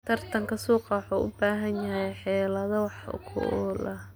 Tartanka suuqa waxa uu u baahan yahay xeelado wax ku ool ah.